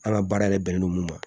An ka baara yɛrɛ bɛnnen don mun ma